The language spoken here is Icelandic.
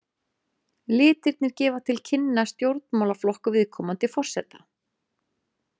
Litirnir gefa til kynna stjórnmálaflokk viðkomandi forseta.